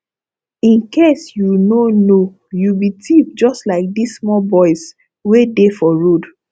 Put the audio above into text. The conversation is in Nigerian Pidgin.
in case you no know you be thief just like dis small boys wey dey for road